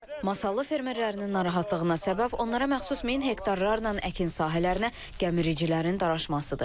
Masallı fermerlərinin narahatlığına səbəb onlara məxsus 1000 hektarlarla əkin sahələrinə gəmiricilərin daraşmasıdır.